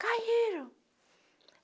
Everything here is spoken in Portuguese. Caíram!